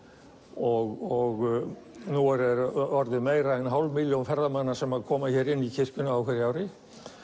og nú er orðin meira en hálf milljón ferðamanna sem koma inn í kirkjuna á hverju ári